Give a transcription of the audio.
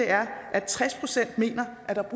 at tres procent mener at der er